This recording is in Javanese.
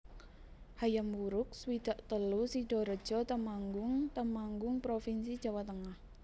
Hayam Wuruk swidak telu Sidorejo Temanggung Temanggung provinsi Jawa Tengah